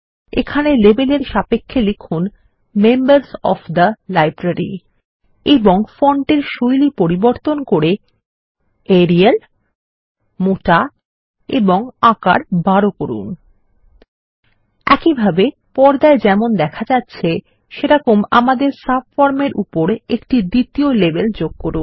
এখানে লেবেলের সাপেক্ষে লিখুন মেম্বার্স ওএফ থে লাইব্রেরি এবং ফন্টের শৈলী পরিবর্তন করে এরিয়াল মোটা এবং আকার 12 করুনltpausegt একইভাবে পর্দায় যেমন দেখা যাচ্ছে সেভাবে আমাদের সাবফর্ম এর উপরে একটি দ্বিতীয় লেবেল যোগ করুন